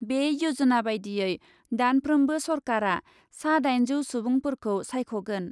बे यजना बायदियै दानफ्रोमबो सरकारा सा दाइनजौ सुबुंफोरखौ सायख ' गोन ।